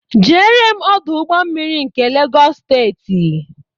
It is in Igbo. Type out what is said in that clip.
Jere m Ọdụ ụgbọ mmiri nke Legọs steeti!